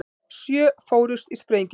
Sjö fórust í sprengingu